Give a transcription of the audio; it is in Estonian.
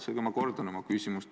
Seega ma kordan oma küsimust.